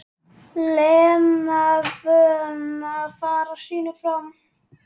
Lena vön að fara sínu fram.